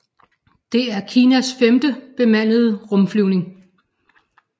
Det er Kinas femte bemandede rumflyvning